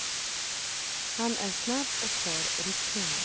Han är snabb och har rutin.